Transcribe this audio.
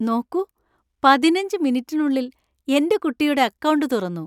നോക്കൂ, പതിനഞ്ച് മിനിറ്റിനുള്ളിൽ എന്‍റെ കുട്ടിയുടെ അക്കൗണ്ട് തുറന്നു.